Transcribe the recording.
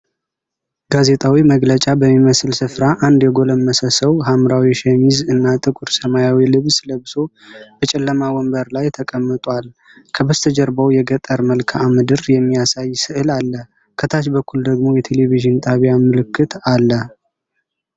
ጋዜጣዊ መግለጫ በሚመስል ስፍራ አንድ የጎለመሰ ሰው ሐምራዊ ሸሚዝ እና ጥቁር ሰማያዊ ልብስ ለብሶ፣ በጨለማ ወንበር ላይ ተቀምጧል። ከበስተጀርባው የገጠር መልክዓ ምድር የሚያሳይ ሥዕል አለ፤ ከታች በኩል ደግሞ የቴሌቪዥን ጣቢያ ምልክት አለ።